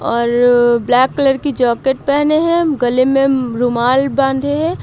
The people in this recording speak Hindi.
और ब्लैक कलर की जाकेट पहने हैं गले में रुमाल बांधे है।